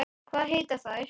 Hvað heita þær?